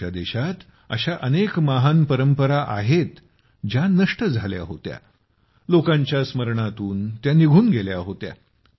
आमच्या देशात अशा अनेक महान परंपरा आहेत ज्या नष्ट झाल्या होत्या पण लोकांच्या स्मरणातून त्या निघून गेल्या होत्या